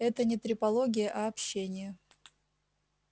это не трепология а общение